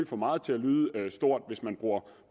få meget til at lyde stort hvis man bruger